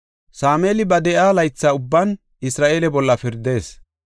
Sameeli ba de7o laytha ubban Isra7eele bolla pirdees.